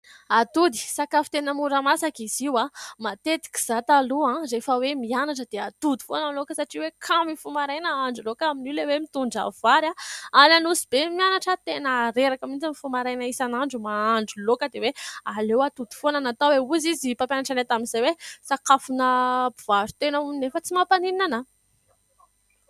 Atody, sakafo tena mora masaka izy io. Matetika izaho taloha rehefa hoe mianatra, dia atody foana ny laoka. Satria hoe kamo mifoha maraina hahandro laoka, amin'io ilay hoe mitondra vary, ary any Anosibe no mianatra. Tena reraka mihitsy mifoha maraina, isanandro mahandro laoka, dia hoe aleo atody foana no atao. Hoy ny mpampianatra anay tamin'izay hoe :" sakafon'ny mpivaro-tena ", hono, nefa tsy mampaninona ahy.